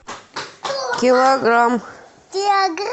килограмм